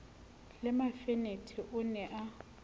le mafenethe o ne a